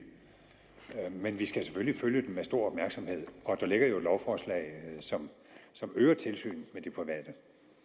men vi skal selvfølgelig følge den med stor opmærksomhed og der ligger jo et lovforslag som øger tilsynet med de private